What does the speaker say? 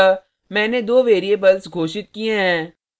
अतः मैंने दो variables घोषित किये हैं